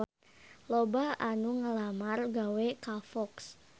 Loba anu ngalamar gawe ka Fox